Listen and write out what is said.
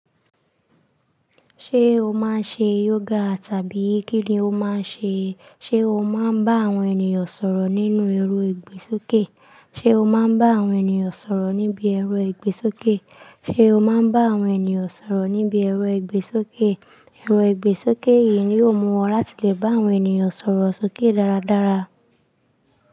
Ṣé o máa ń ṣe yoga tàbí kí ni o máa ń ṣe? Ṣé o máa ń bá àwọn ènìyàn sọ̀rọ̀ nínú ẹ̀rọ ìgbésókè? Ṣé o máa ń bá àwọn ènìyàn sọ̀rọ̀ níbi ẹrù ẹgbẹ́ sókè? Ṣé o máa ń bá àwọn ènìyàn sọ̀rọ̀ níbi ẹrù ẹgbẹ́ sókè? Ẹ̀rọ ìgbésókè yìí ni yóò mú ọ láti lè bá àwọn ènìyàn sọ̀rọ̀ sókè dáradára.